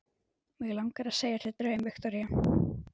Mig langar að segja þér draum, Viktoría.